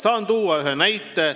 Saan tuua ühe näite.